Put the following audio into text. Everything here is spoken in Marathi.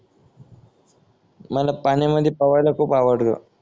मला पाण्यामध्ये पवायला खूप आवडत